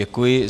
Děkuji.